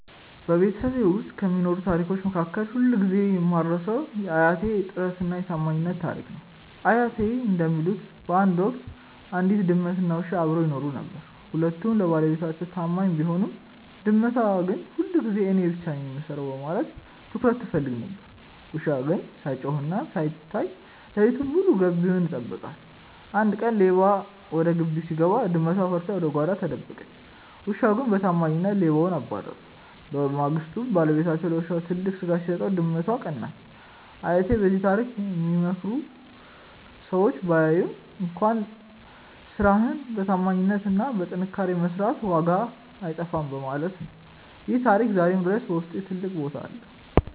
በቤተሰቤ ውስጥ ከሚነገሩ ታሪኮች መካከል ሁልጊዜ የማልረሳው የአያቴ "የጥረትና የታማኝነት" ታሪክ ነው። አያቴ እንደሚሉት፣ በአንድ ወቅት አንዲት ድመትና አንድ ውሻ አብረው ይኖሩ ነበር። ሁለቱም ለባለቤታቸው ታማኝ ቢሆኑም፣ ድመቷ ግን ሁልጊዜ እኔ ብቻ ነኝ የምሰራው በማለት ትኩረት ትፈልግ ነበር። ውሻው ግን ሳይጮህና ሳይታይ ሌሊቱን ሙሉ ግቢውን ይጠብቃል። አንድ ቀን ሌባ ወደ ግቢው ሲገባ፣ ድመቷ ፈርታ ወደ ጓዳ ተደበቀች። ውሻው ግን በታማኝነት ሌባውን አባረረ። በማግስቱ ባለቤታቸው ለውሻው ትልቅ ስጋ ሲሰጠው፣ ድመቷ ቀናች። አያቴ በዚህ ታሪክ የሚመክሩን ሰው ባያይህም እንኳን ስራህን በታማኝነትና በጥንካሬ መስራት ዋጋው አይጠፋም በማለት ነው። ይህ ታሪክ ዛሬም ድረስ በውስጤ ትልቅ ቦታ አለው።